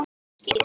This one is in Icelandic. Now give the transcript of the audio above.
Hátt og skýrt.